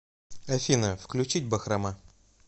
афина включить бахрома